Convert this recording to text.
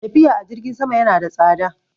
Tafiya a jirgin sama yana da tsada.